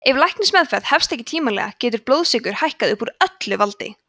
ef læknismeðferð hefst ekki tímanlega getur blóðsykur hækkað upp úr öllu valdi